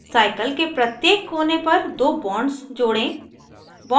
cycle के प्रत्येक कोने पर दो bonds जोड़ें